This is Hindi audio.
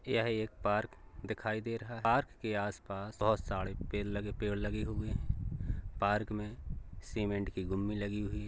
यह एक पार्क दिखाई दे रहा है | पार्क के आस-पास बोहोत सारे पेड़ लगे पेड़ लगे हुए हैं | पार्क मे सीमेंट की गुम्बी लगी हुई --